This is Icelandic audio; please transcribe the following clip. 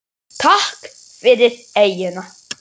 Takk fyrir eyjuna.